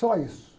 Só isso.